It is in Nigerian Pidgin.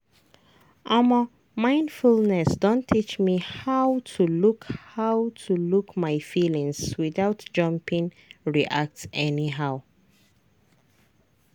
omo mindfulness don teach me how to look how to look my feelings without jumping react anyhow.